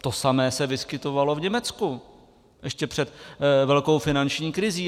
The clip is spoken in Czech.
To samé se vyskytovalo v Německu ještě před velkou finanční krizí.